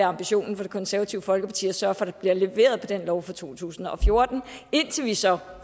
ambitionen for det konservative folkeparti at sørge for at der bliver leveret på den lov fra to tusind og fjorten indtil vi så